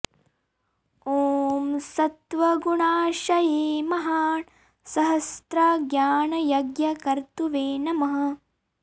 ॐ सत्त्व गुणाश्रये महान् सहस्र ज्ञान यज्ञ कर्तृवे नमः